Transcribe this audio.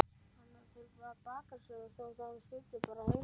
Hann fann til með bakarameistaranum þótt hann styddi Breta heilshugar.